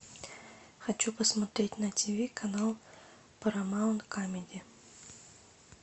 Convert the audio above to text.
хочу посмотреть на тиви канал парамаунт камеди